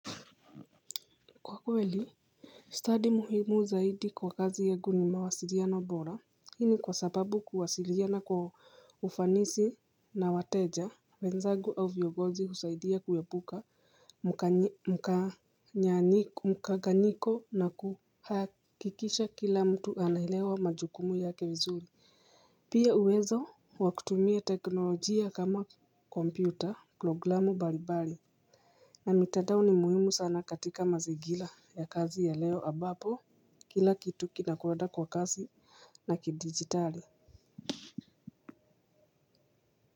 Kwa kweli stadi muhimu zaidi kwa kazi yagu ni mawasiriano bora. Hii ni kwa sababu kuwasiriana kwa ufanisi na wateja wenzagu au vyogozi husaidia kuwepuka mkanganyiko na kuhakikisha kila mtu anaelewa majukumu yake vizuri. Pia uwezo wa kutumia teknolojia kama kompyuta programu balibali na mitandao ni muhimu sana katika mazigila ya kazi ya leo abapo kila kitu kinakoeda kwa kazi na kidigitali.